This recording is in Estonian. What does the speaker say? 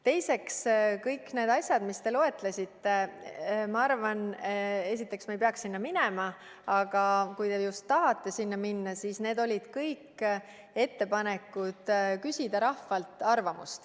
Teiseks, kõik need asjad, mis te loetlesite – esiteks, ma arvan, et me ei peaks sellesse teemasse minema, aga kui te just tahate sinna minna, siis vastan –, need olid kõik ettepanekud küsida rahvalt arvamust.